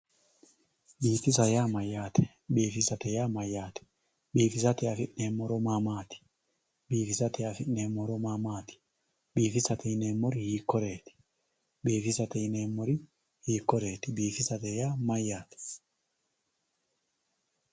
biifisa yaa mayyaate biifisate yaa mayyaate biifisate afi'neemmo horo maa maati biifisate afi'neemmo horo maa maati biifisate yineemmori hiikkoreeti biifisate yineemmori hiikkoreeti biifisate yaa mayyaate.